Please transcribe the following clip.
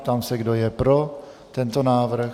Ptám se, kdo je pro tento návrh.